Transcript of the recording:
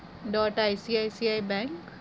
dotICICIbank